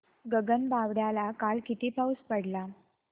गगनबावड्याला काल किती पाऊस पडला